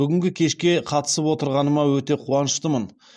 бүгінгі кешке қатысып отырғаныма өте қуаныштымын